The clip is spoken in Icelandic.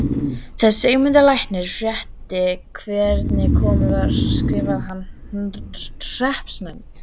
Þegar Sigmundur læknir frétti hvernig komið var skrifaði hann hreppsnefnd